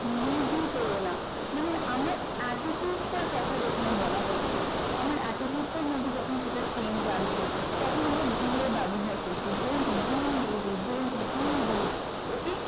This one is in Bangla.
lazy মানে আমরা attitude তার কথা যেখানে আমার attitude টার মধ্যে যখন একটা change তখন আমরা be ব্যবহার করছি don't be lazy don't be good ok